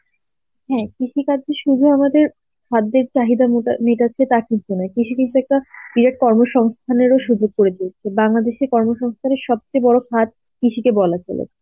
হম কৃষি কার্য শুধু আমাদের খাদ্যের চাহিদা মেটায়, মেটাচ্ছে তা কিন্তু নয়. কৃষি কিন্তু একটা direct কর্মসংস্থানের ও সুযোগ করে দিয়েছে. বাংলাদেশের কর্মসংস্থানের সবচেয়ে বড় ছাদ কৃষিকে বলা চলে.